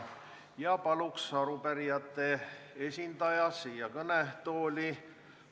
Palun arupärijate esindaja siia kõnetooli!